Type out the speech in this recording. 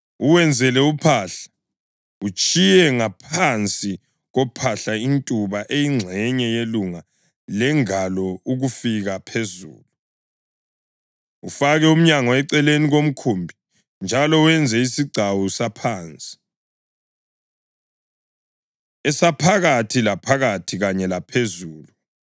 Uwenzele uphahla, utshiye ngaphansi kophahla intuba eyingxenye yelunga lengalo ukufika phezulu. Ufake umnyango eceleni komkhumbi njalo wenze isigcawu saphansi, esaphakathi laphakathi kanye lesaphezulu.